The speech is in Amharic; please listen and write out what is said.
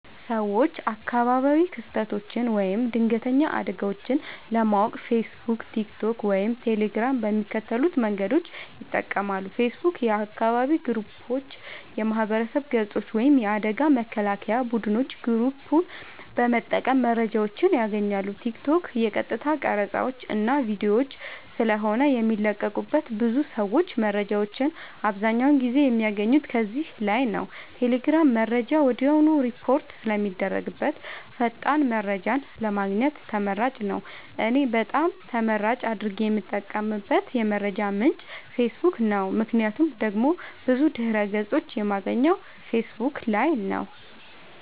ሰወች አካባቢያዊ ክስተቶች ወይም ድንገተኛ አደጋወች ለማወቅ ፌሰቡክ ቲክቶክ ወይም ቴሌግራም በሚከተሉት መንገዶች ይጠቀማሉ ፌሰቡክ :- የአካባቢ ግሩፖች የማህበረሰብ ገፆች ወይም የአደጋ መከላከያ ቡድኖች ግሩፕ በመጠቀም መረጃወችን ያገኛሉ ቲክቶክ :- የቀጥታ ቀረፃወች እና ቪዲዮወች ስለሆነ የሚለቀቁበት ብዙ ሰወች መረጃወችን አብዛኛውን ጊዜ የሚያገኙት ከዚህ ላይ ነዉ ቴሌግራም :-መረጃ ወድያውኑ ሪፖርት ስለሚደረግበት ፈጣን መረጃን ለማግኘት ተመራጭ ነዉ። እኔ በጣም ተመራጭ አድርጌ የምጠቀምበት የመረጃ ምንጭ ፌሰቡክ ነዉ ምክንያቱም ደግሞ ብዙ ድህረ ገፆችን የማገኘው ፌሰቡክ ላይ ነዉ